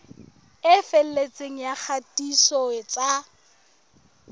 e felletseng ya kgatiso tsa